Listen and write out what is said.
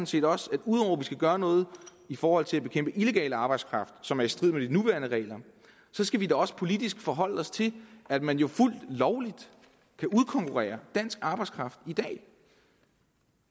set også at ud over at vi skal gøre noget i forhold til at bekæmpe illegal arbejdskraft som er i strid med de nuværende regler skal vi da også politisk forholde os til at man jo fuldt lovligt kan udkonkurrere dansk arbejdskraft i dag